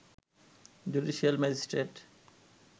judicial magistrate